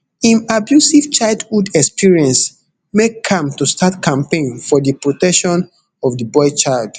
im abusive childhood experience make am to start campaign for di protection of di boy child